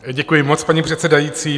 Děkuji moc, paní předsedající.